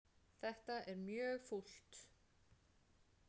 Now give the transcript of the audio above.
Þetta er mjög fúlt.